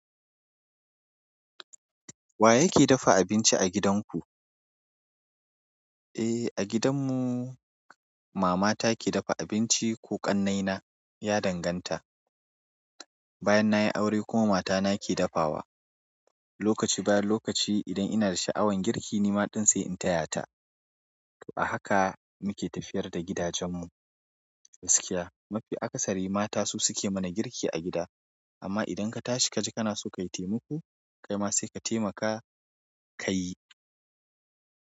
Wa yake dafa abinci a gidanku? Eh, a gidan mu mama ta ke dafa abinci ko kannai na ya danganta. Bayan nayi aure kuma mata na ke dafawa. Lokaci bayan lokaci idan ina da sha'awan girki ni ma ɗin sai in taya ta. To a haka muke tafiyar da gidajen mu. Gaskiya mafi akasari mata su suke mana girki a gida. Amma idan ka tashi kaji kana so ka yi taimako kai ma sai ka taimaka ka yi.